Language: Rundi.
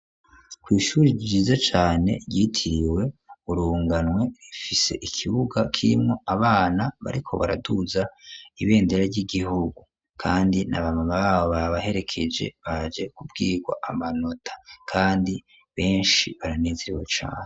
kw'ishuri ryiza cane ryitiriwe urunganwe rifise ikibuga kirimwo abana bariko baraduza ibendera ry'igihugu kandi naba mama babo babaherekeje baje kubwirwa amanota kandi beshi baranezerewe cane.